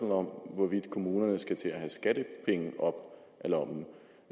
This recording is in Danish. hvorvidt kommunerne skal til at have skattepenge op